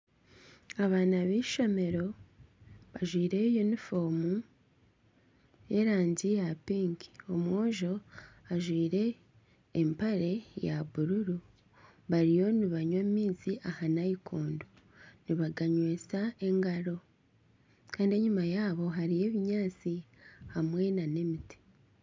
Abaana b'eishomero bajwaire yunifoomu y'erangi ya pinki. Omwojo ajwaire empare ya bururu bariyo nibanywa amaizi aha naikondo nibaganywesa engaro. Kandi enyima yaabo hariyo ebinyaatsi hamwe nana emiti.